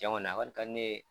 Jɔn kɔni a kɔni ka di ne ye